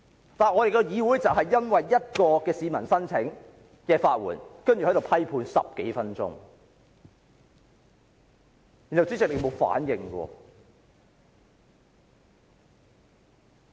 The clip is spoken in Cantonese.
然而，我們的議會卻因一名市民申請法援，便在此批判他10多分鐘，而主席卻毫無反應。